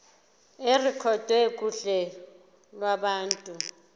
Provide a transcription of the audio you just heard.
irekhodwe kuhla lwabantu